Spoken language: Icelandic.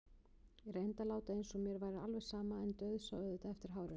Ég reyndi að láta eins og mér væri alveg sama en dauðsá auðvitað eftir hárinu.